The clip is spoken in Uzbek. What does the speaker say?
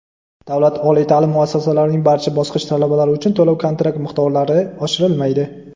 Davlat oliy ta’lim muassasalarining barcha bosqich talablari uchun to‘lov-kontrakt miqdorlari oshirilmaydi!.